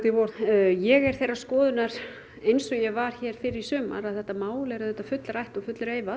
í vor ég er þeirrar skoðunar eins og ég var hér fyrr í sumar að þetta mál er auðvitað fullrætt og fullreifað